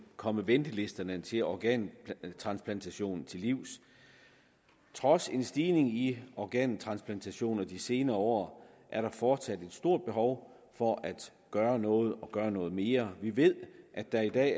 komme ventelisterne til organtransplantation til livs trods en stigning i organtransplantationer i de senere år er der fortsat et stort behov for at gøre noget og gøre noget mere vi ved at der i dag